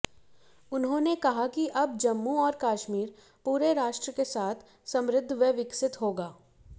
उन्होंने कहा कि अब जम्मू और कश्मीर पूरे राष्ट्र के साथ समृद्ध व विकसित होगा